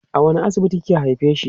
a wani asibiti kika haifeshi